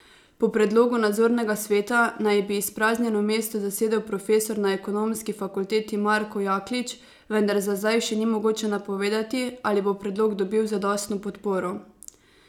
Po predlogu nadzornega sveta naj bi izpraznjeno mesto zasedel profesor na ekonomski fakulteti Marko Jaklič, vendar za zdaj še ni mogoče napovedati, ali bo predlog dobil zadostno podporo.